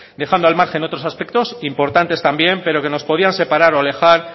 dejando al margen otros aspectos importantes también pero que nos podían separar o alejar